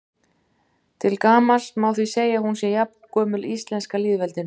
Til gamans má því segja að hún sé jafngömul íslenska lýðveldinu.